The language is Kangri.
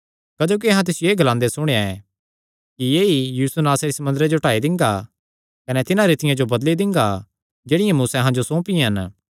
क्जोकि अहां तिसियो एह़ ग्लांदे सुणेया एह़ कि ऐई यीशु नासरी इस मंदरे जो ढाई दिंगा कने तिन्हां रीतियां जो बदली दिंगा जेह्ड़ियां मूसैं अहां जो सौंपियां हन